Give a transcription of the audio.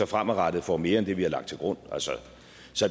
fremadrettet får mere end det vi har lagt til grund altså